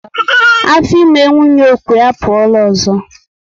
Afọ ime nwunye Okwy apuola ọzọ